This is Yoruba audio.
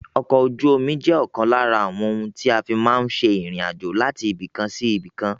Ọkọ̀ ojú omi je òkan lára àwọn ohun tí a fi máa n láti ibìkan sí ibìkan